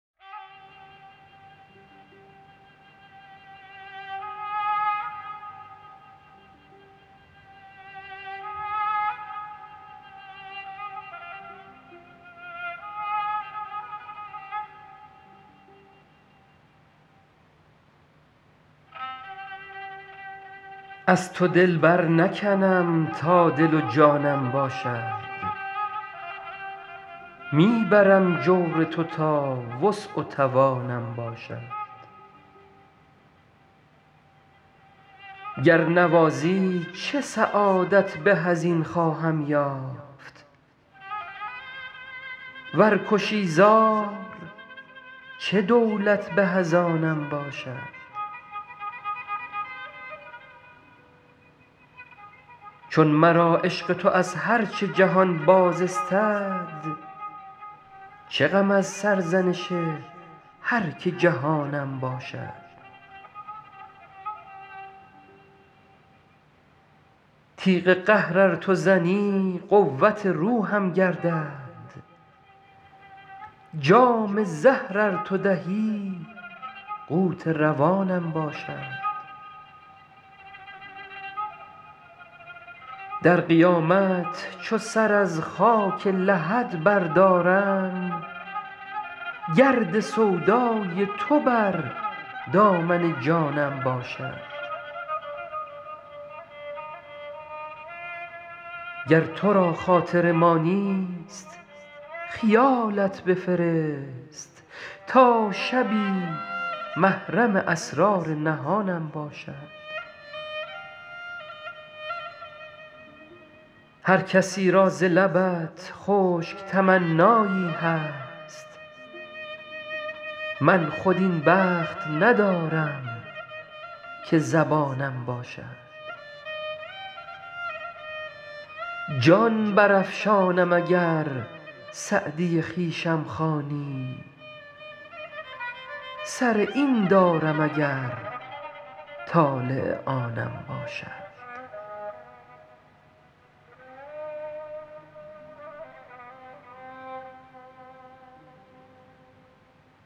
از تو دل برنکنم تا دل و جانم باشد می برم جور تو تا وسع و توانم باشد گر نوازی چه سعادت به از این خواهم یافت ور کشی زار چه دولت به از آنم باشد چون مرا عشق تو از هر چه جهان باز استد چه غم از سرزنش هر که جهانم باشد تیغ قهر ار تو زنی قوت روحم گردد جام زهر ار تو دهی قوت روانم باشد در قیامت چو سر از خاک لحد بردارم گرد سودای تو بر دامن جانم باشد گر تو را خاطر ما نیست خیالت بفرست تا شبی محرم اسرار نهانم باشد هر کسی را ز لبت خشک تمنایی هست من خود این بخت ندارم که زبانم باشد جان برافشانم اگر سعدی خویشم خوانی سر این دارم اگر طالع آنم باشد